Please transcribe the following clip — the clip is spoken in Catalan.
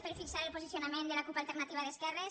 per fixar el posicionament de la cup · alternativa d’esquerres